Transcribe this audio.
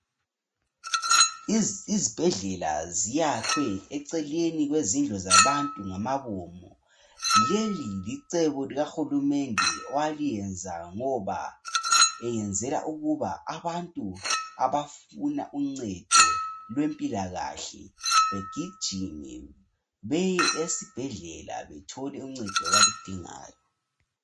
Izibhedlela ziyakhwe eceleni kwezindlu zabantu ngamabomo leli licebo likahulumende owaliyenza ngoba eyenzela ukuba abantu abafuna uncedo lwempilakahle begijime beye esibhedlela bethole uncedo abalidingayo.